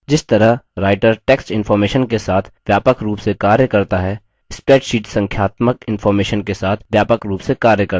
जिस तरह writer text information के साथ व्यापक रूप से कार्य करता है spreadsheet संख्यात्मक इंफॉर्मेशन के साथ व्यापक रूप से कार्य करता है